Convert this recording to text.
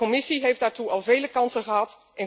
De Commissie heeft daartoe al vele kansen gehad.